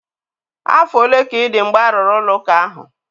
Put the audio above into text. Afọ ole ka ị dị mgbe arụrụ ụlọ ụka ahụ?